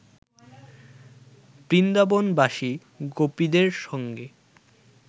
বৃন্দাবনবাসী গোপীদের সঙ্গে